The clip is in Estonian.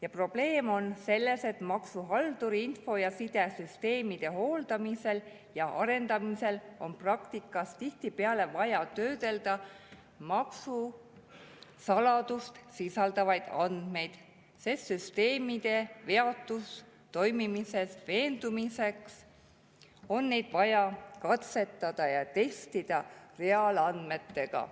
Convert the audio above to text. Ja probleem on selles, et maksuhalduril on info‑ ja sidesüsteemide hooldamisel ja arendamisel praktikas tihtipeale vaja töödelda maksusaladust sisaldavaid andmeid, sest süsteemide veatus toimimises veendumiseks on neid vaja katsetada ja testida reaalandmetega.